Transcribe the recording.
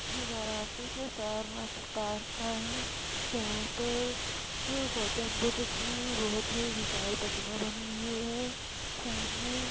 ये वाराणसी के सारनाथ द्वार का है जहाँ पर गौतम बुद्ध की बहुत ही विशाल प्रतिमा बनी हुई है सामने।